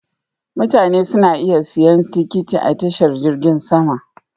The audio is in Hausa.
Mutane suna iya siyan tikiti a tashar jirgin sama.